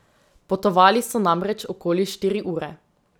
Potovali so namreč okoli štiri ure.